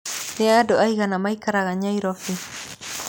Nĩ andũ aigana maikaraga Nairobi?